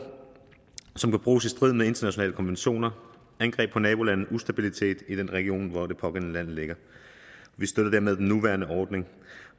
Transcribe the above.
som kan bruges i strid med internationale konventioner angreb på nabolande og ustabilitet i den region hvor det pågældende land ligger vi støtter dermed den nuværende ordning